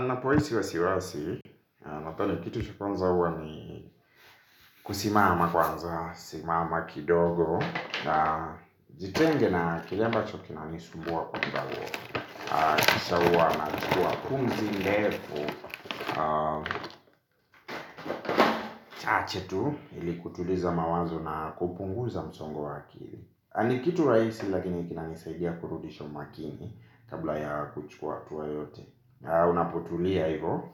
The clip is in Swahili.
Ninapohisi wasiwasi, nadhani kitu cha kwanza huwa ni kusimama kwanza, simama kidogo jitenge na kile ambacho kinanisumbua kwa kibao. Kisha huwa nachukua pumzi ndefu chache tu ili kutuliza mawazo na kupunguza msongo wa akili. Ni kitu rahisi lakini kinanisaidia kurudisha umakini kabla ya kuchukua hatua yeyote. Unapotulia hivo,